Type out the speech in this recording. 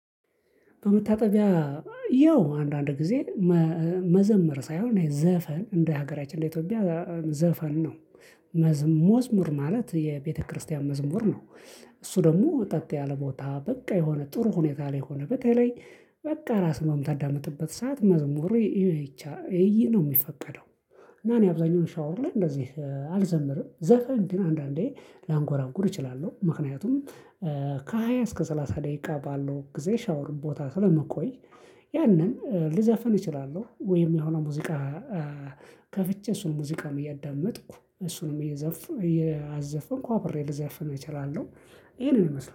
በመታጠቢያ ያው አንዳንድ ጊዜ መዘመር ሳይሆን ዘፈን እንደ ሀገራችን እንደ ኢትዮጵያ ዘፈን ነው መዝሙር ማለት የቤተክርስቲያን መዝሙር ነው። እሱ ደግሞ ጸጥ ያለ ቦታ በቃ የሆነ ጥሩ ሁኔታ ላይ ሆነህ በተለይ በቃ ራስህን የምታዳምጥበት ሰዓት መዝሙር ይቻ ይህ ነው የሚፈቀደው። እና እኔ አብዛኛውን ሻወር ላይ እንደዚህ አልዘምርም ዘፈን ግን አንዳንዴ ላንጎራጉር እችላለሁ ምክንያቱም ከሃያ እስከ ሰላሳ ደቂቃ ባለው ጊዜ ሻወር ቦታ ስለምቆይ። ያንን ልዘፍን እችላለሁ ወይም የሆነ ሙዚቃ ከፍቼ እሱን ሙዚቃን እያዳመጥኩ እሱንም እየዘፉ እያዘፈንኩ አብሬ ልዘፍን እችላለሁ። ይሄንን ይመስላል